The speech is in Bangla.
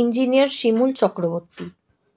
ইঞ্জিনিয়ার শিমুল চক্রবর্তী